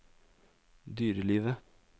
dyrelivet